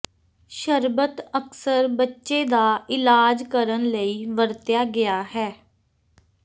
ਸ਼ਰਬਤ ਅਕਸਰ ਬੱਚੇ ਦਾ ਇਲਾਜ ਕਰਨ ਲਈ ਵਰਤਿਆ ਗਿਆ ਹੈ